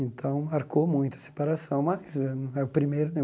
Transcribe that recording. Então, marcou muito a separação, mas não é o primeiro, nem o